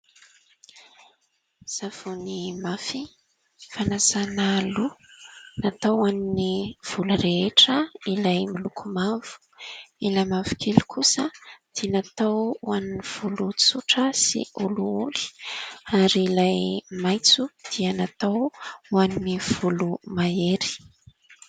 Savony mafy fanasana loha ; natao ho an'ny volo rehetra ilay miloko mavo, ilay mavokely kosa dia natao ho an'ny volo tsotra sy olioly ary ilay maitso dia natao ho an'ny volo mahery.